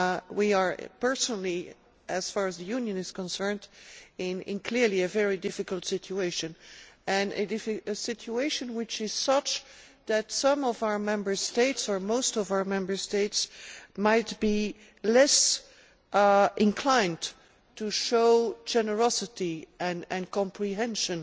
We are personally, as far as the Union is concerned, clearly in a very difficult situation, and in a situation which is such that some of our Member States, or most of our Member States, might be less inclined to show generosity and comprehension